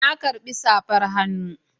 Na karbi safar hannu